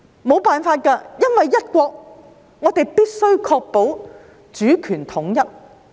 沒奈何，因為"一國"，我們必須確保主權統一。